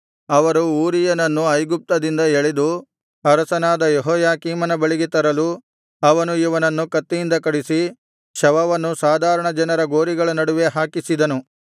ಅವರು ಊರೀಯನನ್ನು ಐಗುಪ್ತದಿಂದ ಎಳೆದು ಅರಸನಾದ ಯೆಹೋಯಾಕೀಮನ ಬಳಿಗೆ ತರಲು ಅವನು ಇವನನ್ನು ಕತ್ತಿಯಿಂದ ಕಡಿಸಿ ಶವವನ್ನು ಸಾಧಾರಣ ಜನರ ಗೋರಿಗಳ ನಡುವೆ ಹಾಕಿಸಿದನು